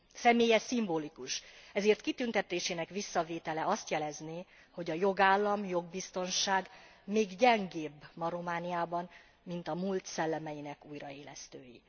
Személye szimbolikus, ezért kitüntetésének visszavétele azt jelezné, hogy a jogállam, jogbiztonság gyengébb ma Romániában, mint a múlt szellemeinek újraélesztői.